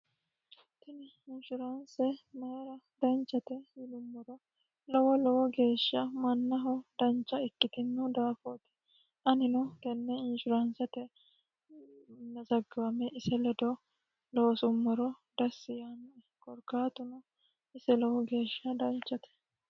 tini inshuraanse maera danchate yilummoro lowo lowo geeshsha mannaho dancha ikkitinu daafooti anino kenne inshuraansate mzaggawame ise ledo loosummoro dassi yaannoe gorgaatuno ise lowo geeshsha danchate